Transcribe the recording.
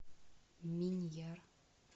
миньяр